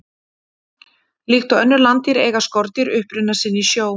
Líkt og önnur landdýr eiga skordýr uppruna sinn í sjó.